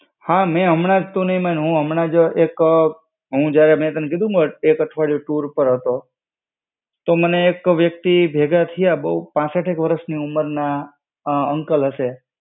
હા મેં હમણાંજ તું ની માણ, હું હમણાંજ એક, હું જયારે મેં તને કીધુંને એક અઠવાડિયે ટુર પાર હતો, તો મને એક વ્યક્તિ ભેગા થીઆ, બો પાંસઠ એક વર્ષની ઉમરના અંકલ હશે.